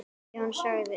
Jón sagði